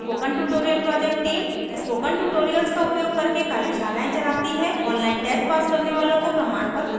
spoken tutorial project team spoken tutorials का उपयोग करके कार्यशालाएं चलाती है online test pass करने वालों को प्रमाणपत्र देते हैं